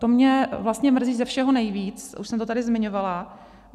To mě vlastně mrzí ze všeho nejvíc, už jsem to tady zmiňovala.